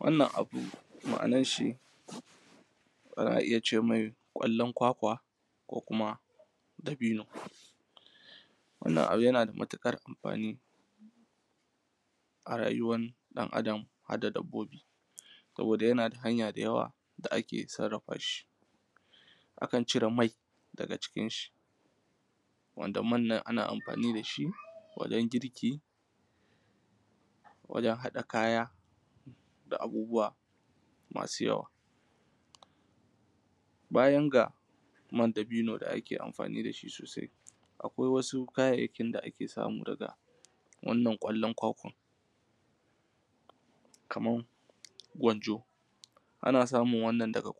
Wannan abu ma'anar shi ana iya ce mai ƙwallon kwakwa, ko kuma dabino. Wannan abu yana da matuƙar amfani a rayuwar ɗan Adam, har da dabbobi; saboda yana da hanya da yawa da ake sarrafa shi. Akan cire mai daga cikin shi, wanda man nan ana amfani da shi wajen girki, wajen haɗa kaya da abubuwa masu yawa. Bayan ga man dabino da ake amfani da shi sosai, akwai wasu kayayyakin da ake samu daga wannan ƙwallon kwakwar. Kamar wanjo, ana samun wannan daga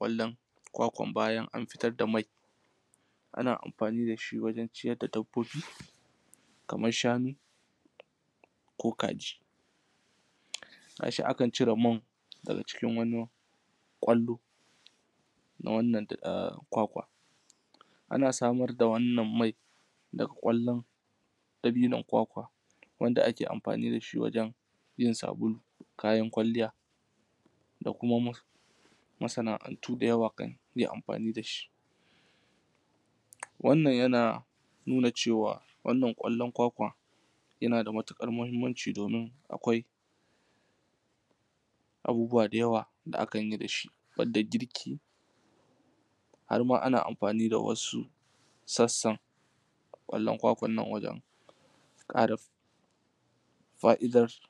kwakwar bayan an fitar da mai; ana amfani da shi wajen ciyar da dabbobi. Kamar shanu, ko kaji. Ga shi akan cire man daga cikin wani ƙwallo na wannan kwakwa. Ana samar da wannan mai da ƙwallon dabinon kwakwar wanda ake amfani da shi wajen yin sabulu, kayan kwalliya, da kuma masana'antu da yawa; kan iya amfani da shi. Wannan yana nuna cewa wannan ƙwallon kwakwar yana da matuƙar muhimmanci, domin akwai abubuwa da yawa da akan yi da shi. Har da girki, har ma ana amfani da wasu sassan ƙwallon kwakwar nan wajen fa'idarsu.